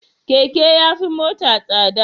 Keke yafi mota tsada